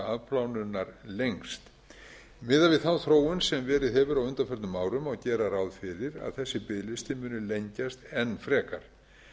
afplánunar lengst miðað við þá þróun sem verið hefur á undanförnum árum má gera ráð fyrir að þessi biðlisti muni lengjast enn frekar